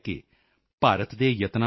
ਸਾਥੀਓ UNESCO UNESCO ਦੀ D